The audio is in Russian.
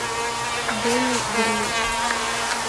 дени вильнев